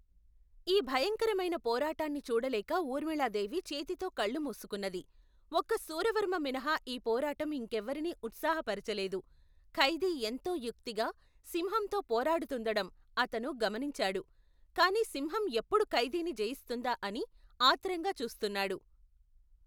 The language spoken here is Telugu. ఈ భయంకరమైన పోరాటాన్ని చూడలేక ఊర్మిళాదేవి చేతితో కళ్లు మూసుకున్నది. ఒక్క శూరవర్మ మినహా ఈ పోరాటం ఇంకెవరినీ ఉత్సాహపరచలేదు. ఖైదీ ఎంతో యుక్తిగా సింహంతో పోరాడుతుండటం అతను గమనించాడు. కాని సింహం ఎప్పుడు ఖైదీని జయిస్తుందా అని ఆత్రంగా చూస్తున్నాడు.